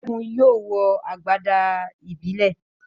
Segun yóò wọ agbada ìbílẹ̀.